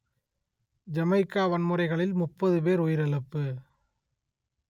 Jamaica வன்முறைகளில் முப்பது பேர் உயிரிழப்பு